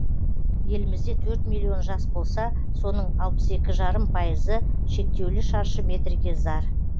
елімізде төрт миллион жас болса соның алпыс екі жарым пайызы шектеулі шаршы метрге зар